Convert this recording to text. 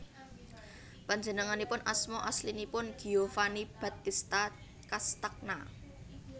Panjenenganipun asma aslinipun Giovanni Battista Castagna